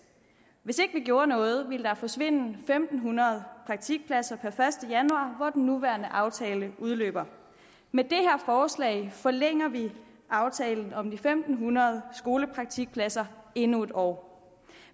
hvis ikke vi gjorde noget ville der forsvinde en fem hundrede praktikpladser den første januar hvor den nuværende aftale udløber med det her forslag forlænger vi aftalen om de fem hundrede skolepraktikpladser endnu et år